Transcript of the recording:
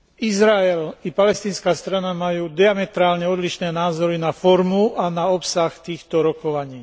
Izrael i palestínska strana majú diametrálne odlišné názory na formu a na obsah týchto rokovaní.